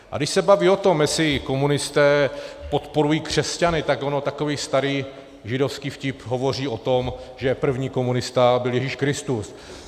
A když se baví o tom, jestli komunisté podporují křesťany, tak on takový starý židovský vtip hovoří o tom, že první komunista byl Ježíš Kristus.